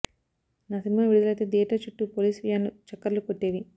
నా సినిమా విడుదలైతే థియేటర్ చుట్టూ పోలీస్ వ్యాన్లు చక్కర్లు కొట్టేవి